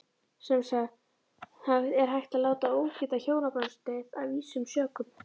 Samt er hægt að láta ógilda hjónabandið af ýmsum sökum.